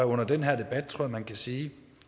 under den her debat tror man kan sige